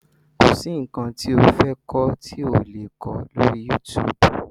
Kọ̀ sí nǹkan tí o fẹ́ kọ́ tí ò le kó lọ́rí YouTube.